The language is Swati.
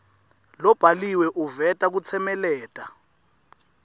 lobhaliwe uveta kutsemeleta